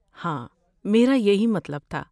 ہاں، میرا یہی مطلب تھا۔